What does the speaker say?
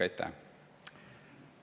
Aitäh!